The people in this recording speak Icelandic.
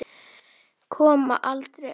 Koma aldrei aftur.